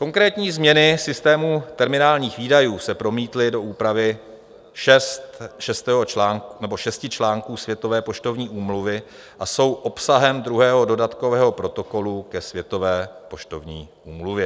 Konkrétní změny systému terminálních výdajů se promítly do úpravy šesti článků Světové poštovní úmluvy a jsou obsahem druhého dodatkového protokolu ke Světové poštovní úmluvě.